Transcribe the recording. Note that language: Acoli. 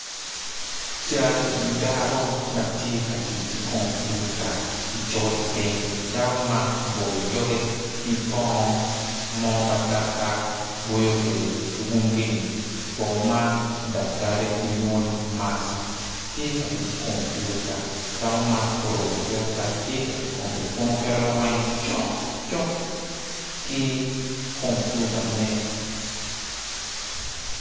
Cal dako ma tye ka tic ki kompiuta i col piny dako man oboyo doge ki bongo mo ma dakta boyo kwede ki ume bongo man daktari gilwongo ni mask tye ka tic ki kom puituta